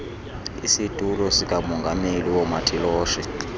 isitulo sikamongameli woomatiloshe